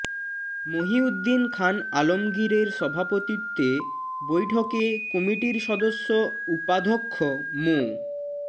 মহীউদ্দীন খান আলমগীরের সভাপতিত্বে বৈঠকে কমিটির সদস্য উপাধ্যক্ষ মো